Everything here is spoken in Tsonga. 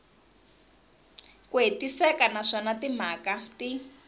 ku hetiseka naswona timhaka ti